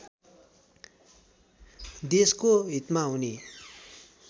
देशको हितमा हुने